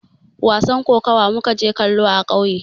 Wasan kokawa mu ka je kallo a kauye